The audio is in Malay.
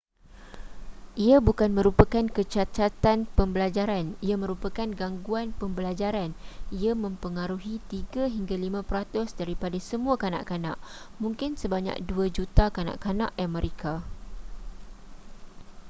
ia bukan merupakan kecacatan pembelajaran ia merupakan gangguan pembelajaran ia mempengaruhi 3 hingga 5 peratus daripada semua kanak-kanak mungkin sebanyak 2 juta kanak-kanak amerika